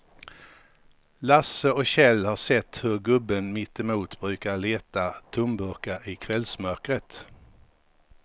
Lasse och Kjell har sett hur gubben mittemot brukar leta tomburkar i kvällsmörkret.